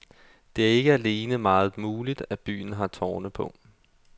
Det er ikke alene meget muligt, at byen har tårne på.